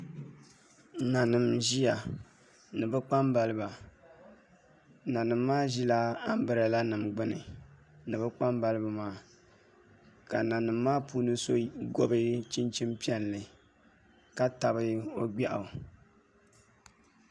Nanima n-ʒiya ni bɛ kpambaliba nanima maa ʒila ambirɛlanima ɡbuni ni bɛ kpambaliba maa ka nanima maa ni so ɡɔbi chinchim' piɛlli ka tabi o ɡbɛɣu